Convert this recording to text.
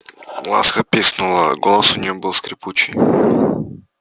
ласка пискнула голос у нее был скрипучий